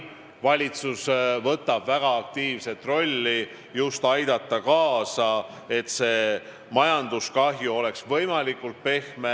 Valitsus mängib siin väga aktiivset rolli, püüdes kaasa aidata, et löök majandusele oleks võimalikult pehme.